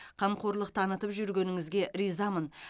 қамқорлық танытып жүргеніңізге ризамын